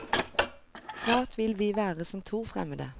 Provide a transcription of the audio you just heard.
Snart vil vi være som to fremmede.